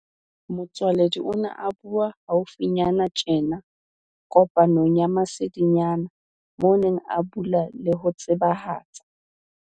Motsoaledi o ne a bua hau finyana tjena kopanong ya masedinyana moo a neng a bula le ho tsebahatsa